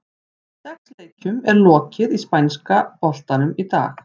Sex leikjum er lokið í spænska boltanum í dag.